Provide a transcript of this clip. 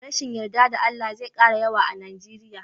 Rashin yarda da Allah zai kara yawa a Nijeriya.